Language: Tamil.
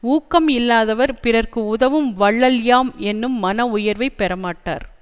ஊக்கம் இல்லாதவர் பிறர்க்கு உதவும் வள்ளல் யாம் என்னும் மன உயர்வைப் பெறமாட்டார்